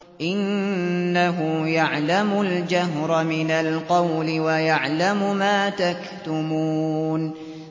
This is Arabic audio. إِنَّهُ يَعْلَمُ الْجَهْرَ مِنَ الْقَوْلِ وَيَعْلَمُ مَا تَكْتُمُونَ